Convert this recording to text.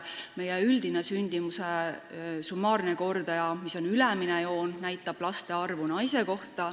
Summaarne sündimuskordaja näitab laste arvu naise kohta.